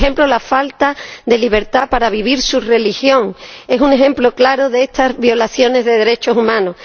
La falta de libertad para vivir su religión es un ejemplo claro de estas violaciones de derechos humanos.